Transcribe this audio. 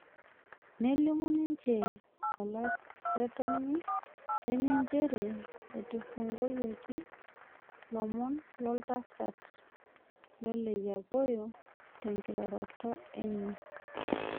Nelimu ninye olaretonni lenye njere etufung'oyioki lomon loltasat Oleyiapoyo tenkiroroto enye.